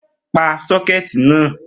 Pa sọ́kẹ̀tì náà!